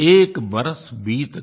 एक बरस बीत गया